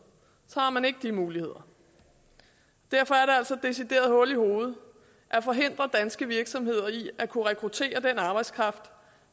har man ikke de muligheder derfor er det altså decideret hul i hovedet at forhindre danske virksomheder i at kunne rekruttere den arbejdskraft